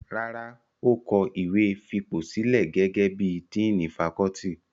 Rárá, ó kọ ìwé fipòsílẹ̀ gẹ́gẹ́ bí i díìnì fakọ́ọ́tì.